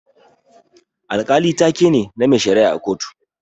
Alkali taa ke ne, na mai shara'a a kotu.